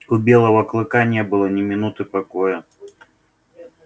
у белого клыка не было ни минуты покоя